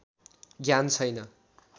ज्ञान छैन